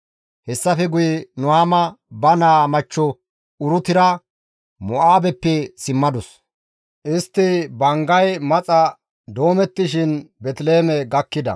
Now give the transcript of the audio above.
Hessafe guye Nuhaama ba naa machcho Urutira Mo7aabeppe simmadus. Istta banggay maxa doomettishin Beeteliheeme gakkida.